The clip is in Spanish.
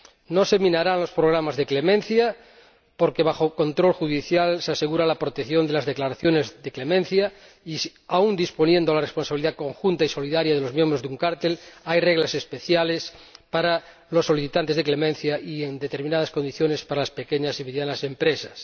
No se minarán los programas de clemencia, porque bajo control judicial se asegura la protección de las declaraciones de clemencia y, aun disponiendo la responsabilidad conjunta y solidaria de los miembros de un cártel, hay reglas especiales para los solicitantes de clemencia y, en determinadas condiciones, para las pequeñas y medianas empresas.